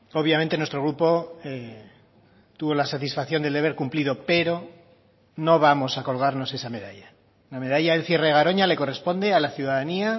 obviamente nuestro grupo tuvo la satisfacción del deber cumplido pero no vamos a colgarnos esa medalla la medalla del cierre de garoña le corresponde a la ciudadanía